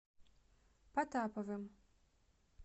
потаповым